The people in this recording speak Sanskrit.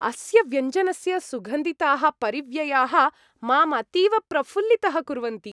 अस्य व्यञ्जनस्य सुगन्धिताः परिव्ययाः माम् अतीव प्रफुल्लितः कुर्वन्ति।